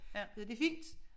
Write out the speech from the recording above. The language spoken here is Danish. Det er fint